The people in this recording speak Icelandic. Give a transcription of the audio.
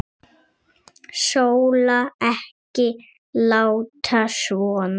Sóla, ekki láta svona.